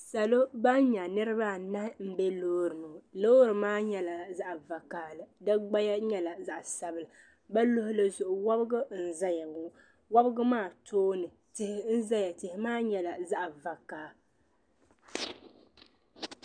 Salɔ ban nyɛ niribi anahi n be lɔɔri ni lɔɔri maa nyɛla zaɣi vakahili, di gbaya. nyɛla zaɣi sabila, bɛ luɣili zuɣu wabgu n ʒɛyaŋɔ wabgu maa tɔɔni tihi n zaya tihi maa nyɛla. zaɣi vakahili.